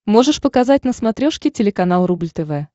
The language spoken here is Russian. можешь показать на смотрешке телеканал рубль тв